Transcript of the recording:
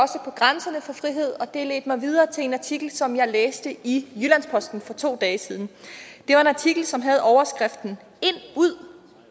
grænserne for frihed og det ledte mig videre til en artikel som jeg læste i jyllands posten for to dage siden det var en artikel som havde overskriften ind ud